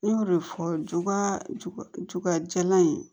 Ne y'o de fɔ juba jalan in ye